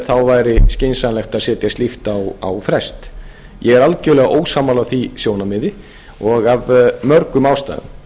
þá væri skynsamlegt að setja slíkt á frest ég er algerlega ósammála því sjónarmiði og af mörgum ástæðum